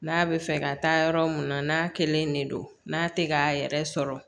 N'a bɛ fɛ ka taa yɔrɔ mun na n'a kelen de don n'a tɛ k'a yɛrɛ sɔrɔ